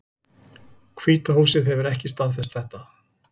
Hvíta húsið hefur ekki staðfest þetta